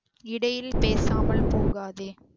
இடையில் பேசாமல் போகாதே